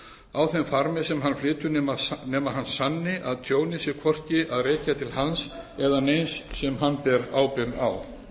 á þeim farmi sem hann flytur nema hann sanni að tjónið sé hvorki að rekja til hans eða neins sem hann ber ábyrgð á